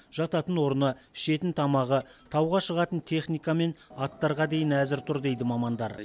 жататын орны ішетін тамағы тауға шығатын техника мен аттарға дейін әзір тұр дейді мамандар